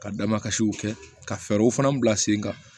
Ka da makasiw kɛ ka fɛɛrɛw fana bila sen kan